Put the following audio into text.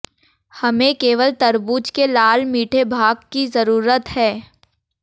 हमें केवल तरबूज के लाल मीठे भाग की जरूरत है